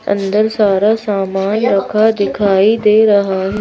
अंदर सारा सामान रखा दिखाई दे रहा है।